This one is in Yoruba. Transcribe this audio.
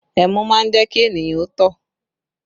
Ẹmu má ń jẹ́ kí ènìyàn ó tọ̀